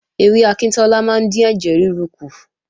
Ewé akíntọ́lá máa ń dín ẹ̀jẹ̀ rúru kù